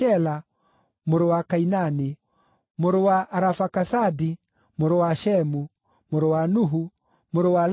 mũrũ wa Kainani, mũrũ wa Arafakasadi, mũrũ wa Shemu, mũrũ wa Nuhu, mũrũ wa Lameku,